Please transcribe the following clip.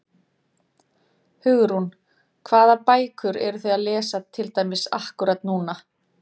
Hugrún: Hvaða bækur eruð þið að lesa til dæmis akkúrat núna?